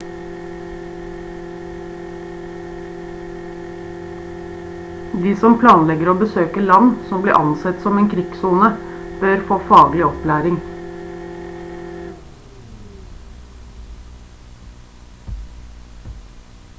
de som planlegger å besøke land som blir ansett som en krigssone bør få faglig opplæring